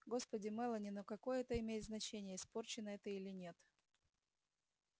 господи мелани ну какое это имеет значение испорченная ты или нет